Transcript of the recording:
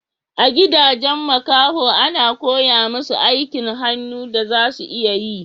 A gidajen makaho a na koya musu aikin hannu da za su iya yi